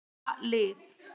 Vera lið.